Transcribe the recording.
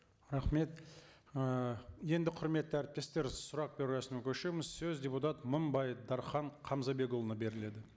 рахмет ыыы енді құрметті әріптестер сұрақ беру рәсіміне көшеміз сөз депутат мыңбаев дархан қамзабекұлына беріледі